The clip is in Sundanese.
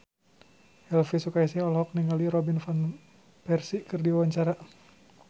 Elvi Sukaesih olohok ningali Robin Van Persie keur diwawancara